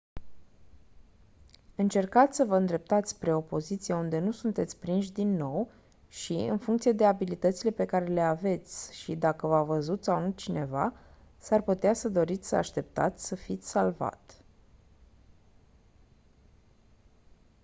încercați să vă îndreptați spre o poziție unde nu sunteți prinși din nou și în funcție abilitățile pe care le aveți și dacă v-a văzut sau nu cineva s-ar putea să doriți să așteptați să fiți salvat